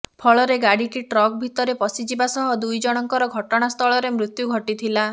ଫଳରେ ଗାଡ଼ିଟି ଟ୍ରକ୍ ଭିତରେ ପଶିଯିବା ସହ ଦୁଇଜଣଙ୍କର ଘଟଣାସ୍ଥଳରେ ମୃତ୍ୟୁ ଘଟିଥିଲା